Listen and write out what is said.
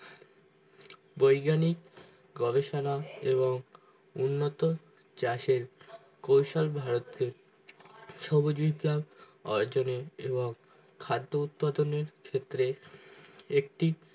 বৈজ্ঞানিক গবেষণা এবং উন্নত চাষের কৈশল ভারতে সহযোগিতা অর্জনে এবং খাদ্য উৎপাদনের ক্ষেত্রে একটি